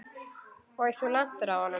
Og þú lentir á honum?